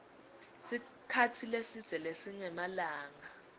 sikhatsi lesidze lesingemalanga